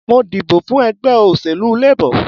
Mo dìbọ̀ fún ẹgbẹ́ òṣèlú Labor